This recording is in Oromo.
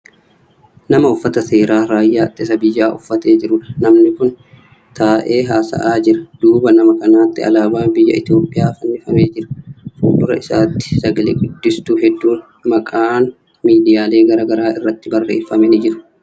Nama uffata seeraa raayyaa ittisa biyyaa uffatee jirudha. namni Kuni taa'ee haasa'aa jira. duuba nama kanaatti alaabaan biyya itoophiyaa fannifamee Jira. fuuldura isaatti sagale guddistuu hedduun maqaan miidiyaalee garagaraa irratti barreeffame ni jiru.